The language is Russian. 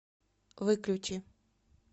выключи